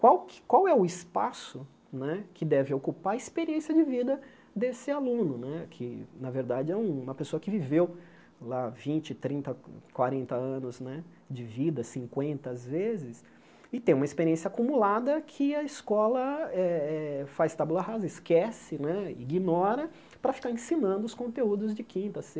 Qual que qual é o espaço que deve ocupar a experiência de vida desse aluno né, que, na verdade, é uma pessoa que viveu lá vinte, trinta, quanrenta anos né de vida, cinquenta às vezes, e tem uma experiência acumulada que a escola eh eh faz tabula rasa, esquece né, ignora, para ficar ensinando os conteúdos de quinta,